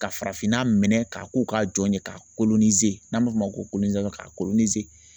Ka farafinna minɛn ka ko ka jɔn ye ka n'an b'a f'o ma ko ka